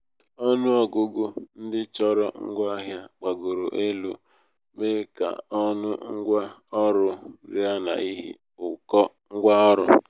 ọnụ um ọgụgụ ndị chọrọ ngwa ahịa gbagoro elu mee ka ọnụ ngwa ọrụ rịa n'ihi ụkọ ngwa ọrụ.